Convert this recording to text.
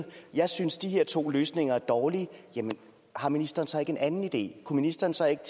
jeg synes at de her to løsninger er dårlige jamen har ministeren så ikke en anden idé kunne ministeren så ikke